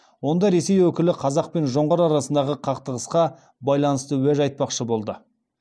онда ресей өкілі қазақ пен жоңғар арасындағы қақтығысқа байланысты уәж айтпақшы болды